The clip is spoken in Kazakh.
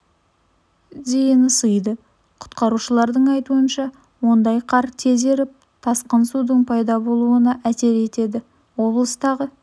дейін ысиды құтқарушылардың айтуынша ондайда қар тез еріп тасқын судың пайда болуына әсер етеді облыстағы